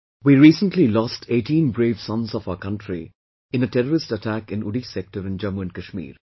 We recently lost 18 brave sons of our country in a terrorist attack in Uri Sector in Jammu and Kashmir